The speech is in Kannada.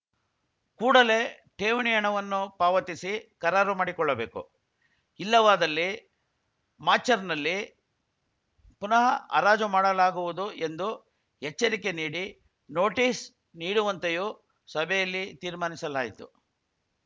ಕೂಡಲೇ ಠೇವಣಿ ಹಣವನ್ನು ಪಾವತಿಸಿ ಕರಾರು ಮಾಡಿಕೊಳ್ಳಬೇಕು ಇಲ್ಲವಾದಲ್ಲಿ ಮಾಚರ್‍ನಲ್ಲಿ ಪುನಃ ಹರಾಜು ಮಾಡಲಾಗುವುದು ಎಂದು ಎಚ್ಚರಿಕೆ ನೀಡಿ ನೋಟೀಸ್‌ ನೀಡುವಂತೆಯೂ ಸಭೆಯಲ್ಲಿ ತೀರ್ಮಾನಿಸಲಾಯಿತು